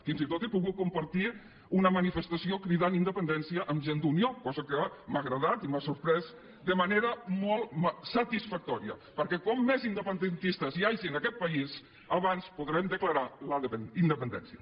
fins i tot he pogut compartir una manifestació cridant independència amb gent d’unió cosa que m’ha agradat i m’ha sorprès de manera molt satisfactòria perquè com més independentistes hi hagi en aquest país abans podrem declarar la independència